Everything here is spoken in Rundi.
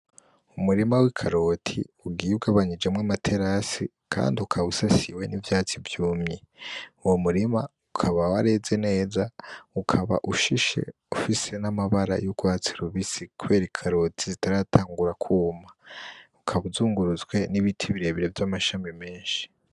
Umurima w’ikaroti ugiye ugabanyijemwo amaterase kandi ukaba usasiwe n’ivyatsi vyumye , Uwo murima ukaba wareze neza ukaba ushishe n’amabara y’urwatsi rubisi kubera Ikaroti zitaratangura kwuma ukaba usungurutswe n’ibiti birebire vy’amashami menshi .